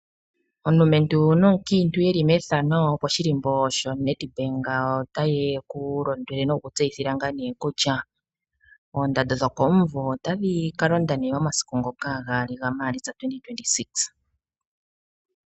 Omulumentu nomukiintu yeli methano oyeli koshilimbo sho NEDBANK ota yeku londwele nokukutseyithila kutya oondando dhokomuvo otadhi kalonda okuza mu 2 Maalitsa 2026.